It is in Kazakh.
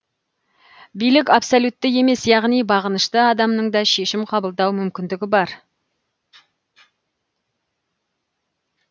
билік абсолютті емес яғни бағынышты адамның да шешім қабылдау мүмкіндігі бар